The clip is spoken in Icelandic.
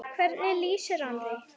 Hvernig lýsir hann því?